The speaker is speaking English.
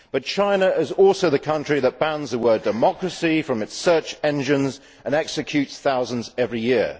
However, China is also the country that bans the word democracy' from its search engines and executes thousands every year.